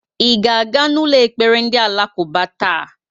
I ga-aga n'ụlọ ekpere ndị Alakuba taa?